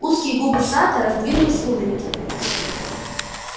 узкие губы сатта раздвинулись в улыбке